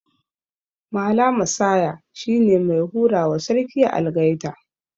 Mala Massaya shine mai hurawa Sarki Algaita